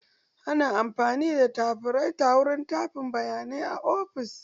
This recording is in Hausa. Ana amfani da tafiraita wurin tafin bayanai a ofis.